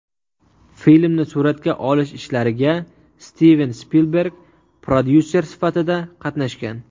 Filmni suratga olish ishlariga Stiven Spilberg prodyuser sifatida qatnashgan.